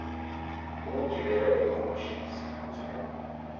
ukugibela ingqoshi siphuthume